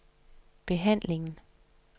behandlingen